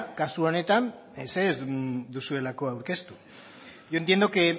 kasu honetan ezer ez duelako aurkeztu yo entiendo que